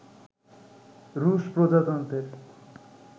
রুশ প্রজাতন্ত্রের